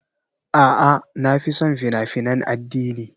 A'a, na fi son fina-finan addini.